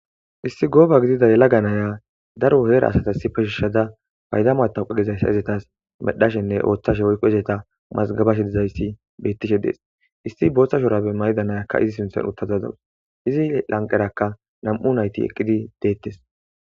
Issi gooba gidida yela ganaya daro heera asata si peshishada payda maatawqa gizayssa izetas medhashenne ooththashe woykqo izeta mazgabashe dizayssi bettishe dees isti booththa shorabe mayda nayakka izi sinthon uttazazawus izi lanqerakka nam'u nayti eqqidi deettes.